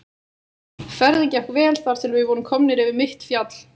Ferðin gekk vel þar til við vorum komnir yfir mitt fjall.